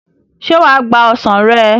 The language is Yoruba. Ṣé wà á gba ọsàn rẹ̀?